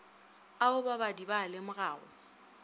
ao babadi ba a lemogago